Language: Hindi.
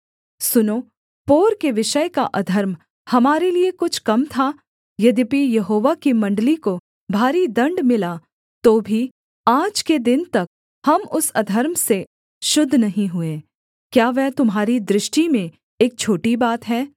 सुनो पोर के विषय का अधर्म हमारे लिये कुछ कम था यद्यपि यहोवा की मण्डली को भारी दण्ड मिला तो भी आज के दिन तक हम उस अधर्म से शुद्ध नहीं हुए क्या वह तुम्हारी दृष्टि में एक छोटी बात है